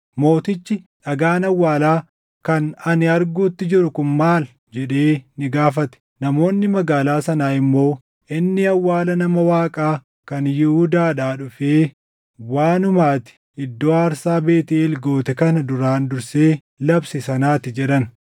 Mootichi, “Dhagaan awwaalaa kan ani arguutti jiru kun maal?” jedhee ni gaafate. Namoonni magaalaa sanaa immoo, “Inni awwaala nama Waaqaa kan Yihuudaadhaa dhufee waanuma ati iddoo aarsaa Beetʼeel goote kana duraan dursee labse sanaa ti” jedhan.